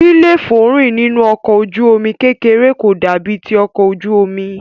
líléfòórìn nínú ọkọ̀ ojú omi kékeré kò dàbí ti ọkọ̀ ojú omi.